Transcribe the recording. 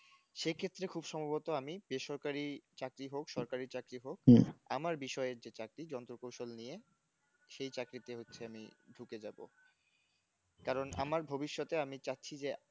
সে ক্ষেত্রে খুব সম্ভবত আমি বেসরকারি চাকরি হোক সরকারি চাকরি হোক আমার বিষয়ের যে চাকরি যন্ত্রকৌশল নিয়ে সেই চাকরিতে হচ্ছে আমি ঢুকে যাব কারণ আমার ভবিষ্যতে আমি চাচ্ছি যে